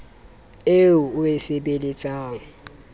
eo o e sebeletsang e